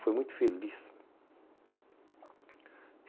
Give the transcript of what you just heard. Foi muito feliz.